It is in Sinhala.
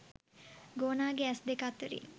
ගෝනාගේ ඇස් දෙක අතරින්